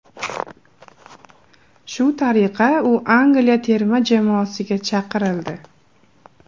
Shu tariqa u Angliya terma jamoasiga chaqirildi.